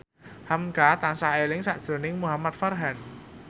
hamka tansah eling sakjroning Muhamad Farhan